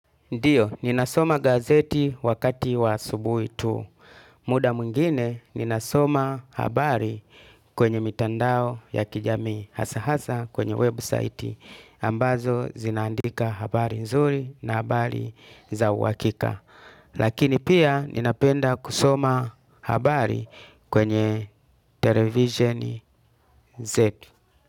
Ndio, ninasoma gazeti wakati wa asubuhi tu. Muda mwingine, ninasoma habari kwenye mitandao ya kijamii hasa-hasa kwenye website. Ambazo zinaandika habari nzuri na habari za uhakika. Lakini pia, ninapenda kusoma habari kwenye televiseni zetu.